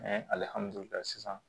sisan